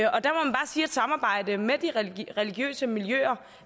samarbejde med de religiøse miljøer